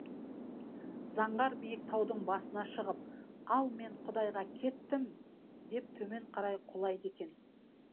заңғар биік таудың басына шығып ал мен құдайға кеттім деп төмен қарай құлайды екен